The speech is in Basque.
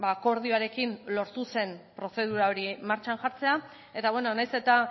akordioarekin lortu zen prozedura hori martxan jartzea eta nahiz eta